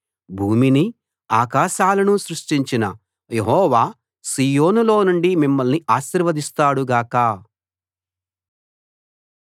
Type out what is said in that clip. భూమినీ ఆకాశాలనూ సృష్టించిన యెహోవా సీయోనులోనుండి మిమ్మల్ని ఆశీర్వదిస్తాడు గాక